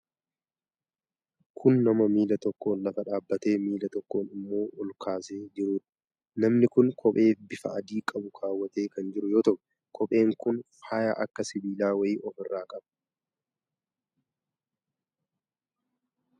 Kun nama miila tokkoon lafa dhaabatee miila tokko immoo ol kaasee jiruudha. Namni kun qophee bifa adii qabu kaawwatee kan jiru yoo ta'u, qopheen kun faaya akka sibiilaa wayii of irraa qaba.